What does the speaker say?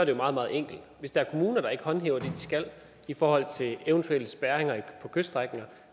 jo meget meget enkelt hvis der er kommuner der ikke håndhæver det de skal i forhold til eventuelle spærringer på kyststrækninger